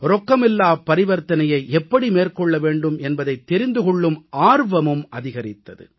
ரொக்கமில்லாப் பரிவர்த்தனையை எப்படி மேற்கொள்ள முடியும் என்பதைத் தெரிந்து கொள்ளும் ஆர்வமும் அதிகரித்தது